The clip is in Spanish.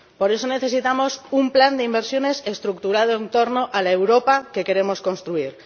Por eso necesitamos un plan de inversiones estructurado en torno a la Europa que queremos construir.